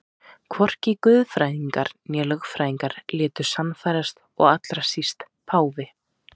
Hvorki guðfræðingar né lögfræðingar létu sannfærast og allra síst páfi.